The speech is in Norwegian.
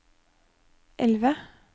elve